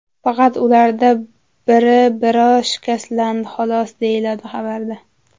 Faqat ulardan biri biroz shikastlandi, xolos”, deyiladi xabarda.